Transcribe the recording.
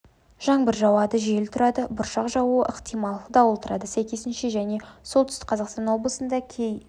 жаңбыр жауады жел тұрады бұршақ жаууы ықтимал дауыл тұрады сәйкесінше және солтүстік қазақстан облысында кей